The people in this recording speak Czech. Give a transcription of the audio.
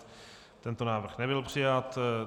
Tento návrh nebyl přijat.